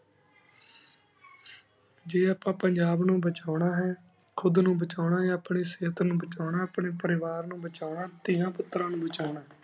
ਜੀ ਅਪਾ ਪੰਜਾਬ ਨੂ ਬੇਚੁਨ ਅਹਿਨ ਖੁਦ ਨੂ ਬੇਚੁਨਾਪ੍ਨੀ ਸੇਹਤ ਨੂ ਬੇਚੁਨਾ ਹੈਂ ਅਪ੍ਯਨ ਪਾਰੀ ਵਾਰ ਨੂ ਬੇਚੁਨਾ ਤੇਯਾਂ ਪੁਤਰਾਂ ਨੂ ਬੇਚੁਨਾ